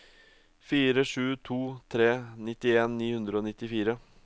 fire sju to tre nittien ni hundre og nittifire